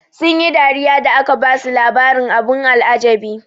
Sun yi dariya da aka basu labarin abin al'ajabi.